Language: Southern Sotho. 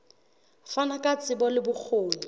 fana ka tsebo le bokgoni